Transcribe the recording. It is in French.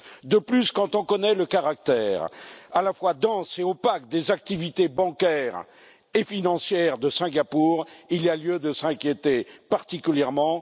De plus, quand on connaît le caractère à la fois dense et opaque des activités bancaires et financières de Singapour, il y a lieu de s'inquiéter particulièrement.